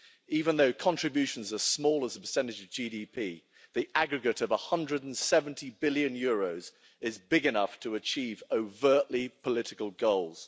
even though contributions as small as a percentage of GDP the aggregate of EUR 170 billion is big enough to achieve overtly political goals.